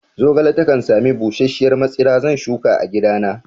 Zogale takan sami busasshiyar matsira, zan shuka a gidana